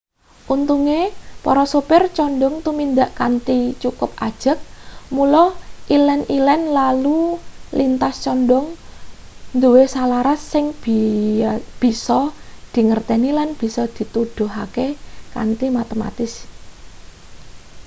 untunge para supir condhong tumindak kanthi cukup ajeg mula ilen-ilen lalu lintas condhong duwe salaras sing bisa dingerteni lan bisa dituduhake kanthi matematis